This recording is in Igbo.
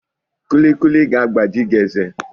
Kulikuli ga-agbaji gị eze